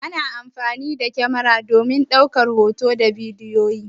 Ana amfani da kamara domin ɗaukar hotuna da bidiyoyi.